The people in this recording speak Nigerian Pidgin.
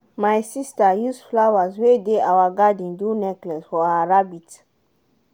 my sister use flowers wey dey our garden do necklace for her rabbit.